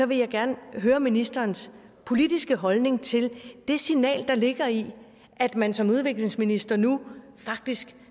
vil jeg gerne høre ministerens politiske holdning til det signal der ligger i at man som udviklingsminister nu faktisk